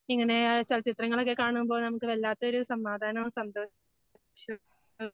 ഇങ്ങനെ ചലച്ചിത്രങ്ങളൊക്കെ കാണുമ്പോൾ നമുക്ക് വല്ലാത്തൊരു സമാധാനവും സന്തോഷ